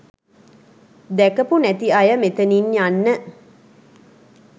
දැකපු නැති අය මෙතනින් යන්න.